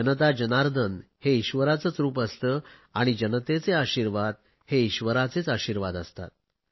जनता जर्नादन हे ईश्वराचेच रुप असते आणि जनतेचे आशिर्वाद हे ईश्वराचेच आशिर्वाद असतात